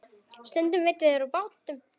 Stundum veiddu þeir úr bátnum.